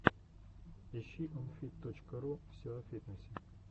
ищи онфит точка ру все о фитнесе